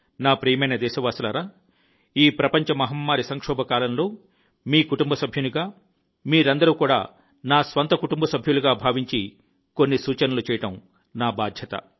నా ప్రియమైన దేశవాసులారా ఈ ప్రపంచ మహమ్మారి సంక్షోభం కాలంలో మీ కుటుంబ సభ్యునిగా మీరందరూ కూడా నా స్వంత కుటుంబ సభ్యులుగా భావించి కొన్ని సూచనలు చేయడం నా బాధ్యత